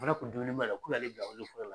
O fana kun dimininen b'o la k'u y'ale bila la.